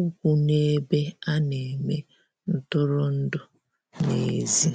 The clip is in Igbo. ụkwụ n'ebe ana eme ntụrụndụ n'ezi